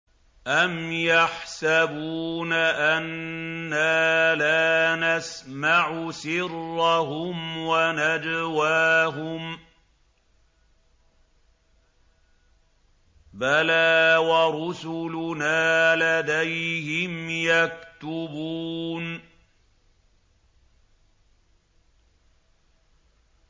أَمْ يَحْسَبُونَ أَنَّا لَا نَسْمَعُ سِرَّهُمْ وَنَجْوَاهُم ۚ بَلَىٰ وَرُسُلُنَا لَدَيْهِمْ يَكْتُبُونَ